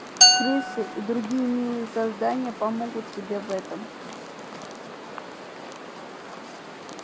крысы и другие милые создания помогут тебе в этом